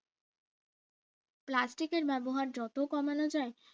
plastic এর ব্যবহার যত কমানো যায়